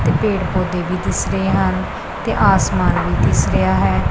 ਤੇ ਪੇੜ ਪੌਦੇ ਵੀ ਦਿਸ ਰਹੇ ਹਨ ਤੇ ਆਸਮਾਨ ਵੀ ਦਿਸ ਰਿਹਾ ਹੈ।